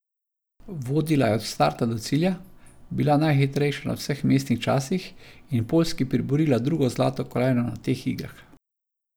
Vodila je od starta do cilja, bila najhitrejša na vseh vmesnih časih in Poljski priborila drugo zlato kolajno na teh igrah.